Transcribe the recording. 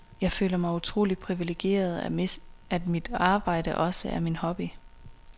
Jeg føler mig utrolig privilegeret, at mit arbejde også er min hobby.